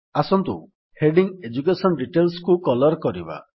ଆସନ୍ତୁ heading education Detailsକୁ colour କରିବା